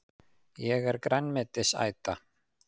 Ég er grænmetisæta!